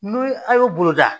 N'u a y'o boloda